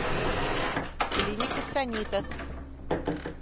клиника санитас